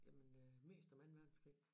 Jamen øh mest om anden verdenskrig